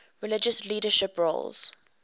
religious leadership roles